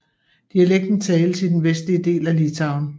Dialekten tales i den vestlige del af Litauen